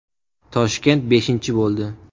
Toshkent beshinchi bo‘ldi.